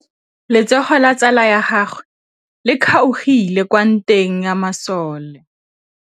Letsôgô la tsala ya gagwe le kgaogile kwa ntweng ya masole.